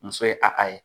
Muso ye a ka ye